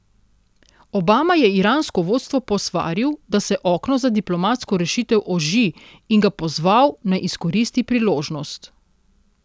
Obama je iransko vodstvo posvaril, da se okno za diplomatsko rešitev oži, in ga pozval, naj izkoristi priložnost.